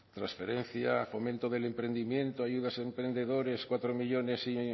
transferencia a fomento del emprendimiento ayudas a emprendedores cuatro millónes